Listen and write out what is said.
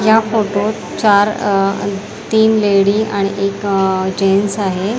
या फोटोत चार तीन लेडी आणि एक अ जेन्ट्स आहे.